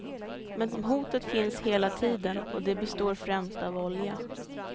Men hotet finns hela tiden, och det består främst av olja.